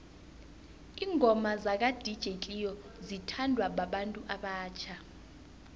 ingoma zaka dj cleo zithanwa babantu abatjha